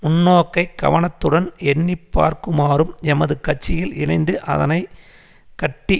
முன்னோக்கை கவனத்துடன் எண்ணிப்பார்க்குமாறும் எமது கட்சியில் இணைந்து அதனை கட்டி